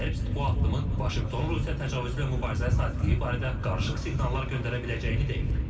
Herbst bu addımın Vaşinqtonun Rusiya təcavüzü ilə mübarizəyə sadiqliyi barədə qarışıq siqnallar göndərə biləcəyini deyib.